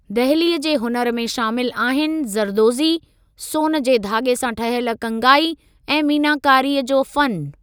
दहिलीअ जे हुनुर में शामिलु आहिनि ज़रदोज़ी, सोन जे धाॻे सां ठहियल कंगाई ऐं मीनाकारीअ जो फ़नु।